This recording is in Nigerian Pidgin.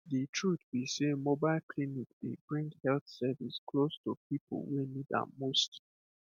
the truth be sey mobile clinic dey bring health service close to people wey need am most